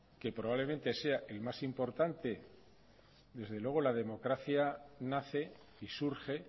que probablemente sea el más importante desde luego la democracia nace y surge